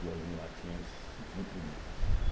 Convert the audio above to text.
Duas mulatinhas muito bonitas.